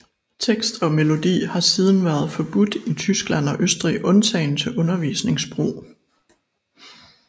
Tekst og melodi har siden været forbudt i Tyskland og Østrig undtagen til undervisningsbrug